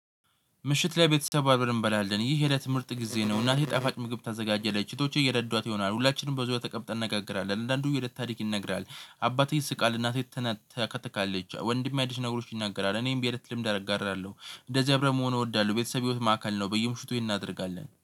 ምሽት ላይ ቤተሰብ አብረን እንበላለን ይህ የለት ምርጥ ጊዜ ነው። እናቴ ጣፋጭ ምግብ ታዘጋጀለች እህቶቼ እየረዳት ይሆናል። ሁላችንም በዙሪያው ተቀምጠን እናገራለን አንዳንዱ የእለት ታሪክ ይነግራል። አባቴ ይስቃል እናቴ ትናት ታከትካለች ወንድሜ አዲስ ነገሮች ይናገራል። እኔም የእለት ልምድ አረጋራለሁ እንደዚህ አብረን መሆኑ እወዳለሁ። ቤተሰብ ህይወት ማዕከል ነው። በየምሽቱ እናደርጋለን